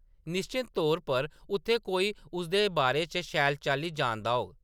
निश्चत तौर पर उत्थै कोई उसदे बारे च शैल चाल्ली जानदा होग ।